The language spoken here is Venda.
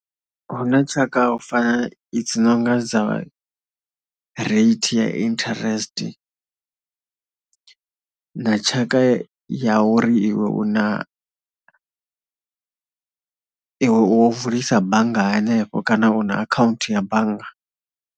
Hu na tshaka u fana, i dzi no nga dza rate ya interest na tshaka ya uri iwe u na, iwe wo vulisa bannga hanefho kana u na akhaunthu ya bannga.